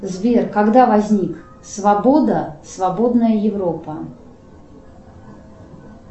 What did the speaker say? сбер когда возник свобода свободная европа